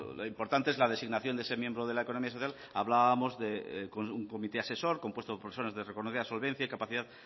lo importante es la designación de ese miembro de la economía social hablábamos de un comité asesor compuesto por personas de reconocida solvencia y capacidad